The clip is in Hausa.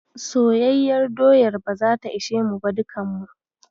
Soyayyar doyar ba zata ishe mu ba dukan mu.